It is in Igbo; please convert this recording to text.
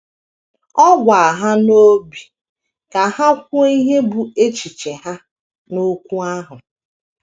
Ọ gwa ha n obi ka ha kwuo ihe bụ́ echiche ha n’okwu ahụ.